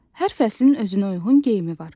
Hər fəslin özünə uyğun geyimi var.